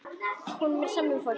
Honum er sama um fólk.